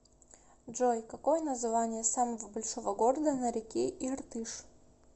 джой какое название самого большого города на реке иртыш